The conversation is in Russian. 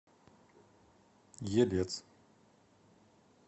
елец